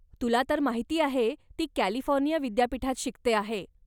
तुला तर माहिती आहे ती कॅलिफोर्निया विद्यापीठात शिकते आहे.